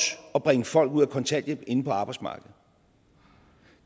at bringe folk ud af kontanthjælp og ind på arbejdsmarkedet